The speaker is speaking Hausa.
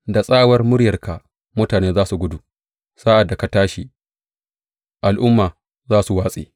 Da tsawar muryarka, mutane za su gudu; sa’ad da ka tashi, al’ummai za su watse.